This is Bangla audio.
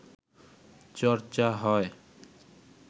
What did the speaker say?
চর্চা হয়